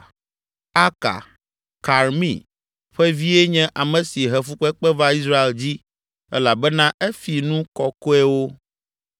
Aka, Karmi ƒe vie nye ame si he fukpekpe va Israel dzi elabena efi nu kɔkɔewo.